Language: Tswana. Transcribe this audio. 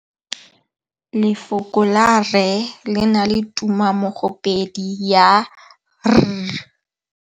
Lefoko la rre le na le tumammogôpedi ya, r.